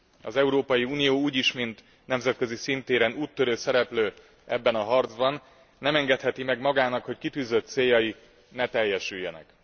Az Európai Unió úgy is mint nemzetközi szintéren úttörő szereplő ebben a harcban, nem engedheti meg magának, hogy kitűzött céljai ne teljesüljenek.